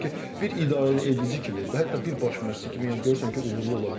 Amma ki, bir idarəedici kimi, hətta bir baş məşqçi kimi yəni görürsən ki, uğurlu ola bilmir.